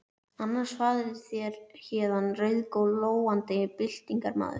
Annars farið þér héðan rauðglóandi byltingarmaður.